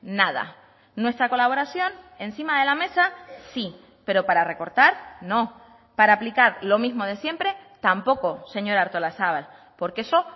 nada nuestra colaboración encima de la mesa sí pero para recortar no para aplicar lo mismo de siempre tampoco señora artolazabal porque eso